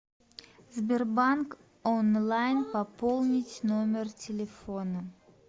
сбербанк онлайн пополнить номер телефона